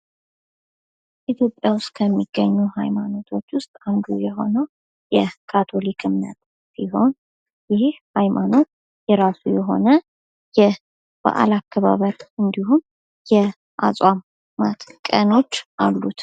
ኢትዮጵያ ውስጥ ከሚገኙ ሀይማኖቶች አንዱ ካቶሊክ ሲሆን ይህ ሃይማኖት የራሱ የሆነ በዓል አከባበር እንዲሁም የአጽዋማት ቀኖች አሉት።